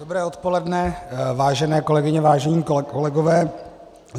Dobré odpoledne, vážené kolegyně, vážení kolegové.